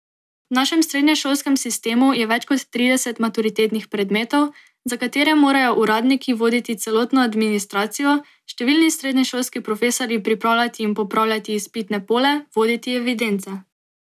V našem srednješolskem sistemu je več kot trideset maturitetnih predmetov, za katere morajo uradniki voditi celotno administracijo, številni srednješolski profesorji pripravljati in popravljati izpitne pole, voditi evidence.